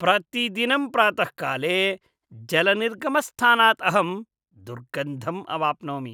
प्रतिदिनं प्रातःकाले जलनिर्गमस्थानात् अहं दुर्गन्धम् अवाप्नोमि।